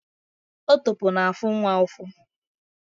Otopo na-afu nwa ufu